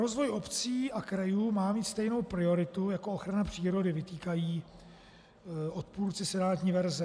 Rozvoj obcí a krajů má mít stejnou prioritu jako ochrana přírody, vytýkají odpůrci senátní verze.